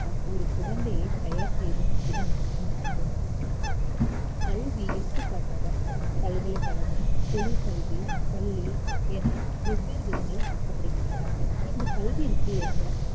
ஒரு குழந்தையைத் தயார் செய்வது இதன் நோக்கம் ஆகும் கல்வி எடுத்துக்காட்டாக பல்கலைக்கழகம் தொழிற்கல்வி பள்ளி என வெவ்வேறு விதங்களில் அழைக்கபடுகின்றன இந்த கல்விக்கு ஏற்ப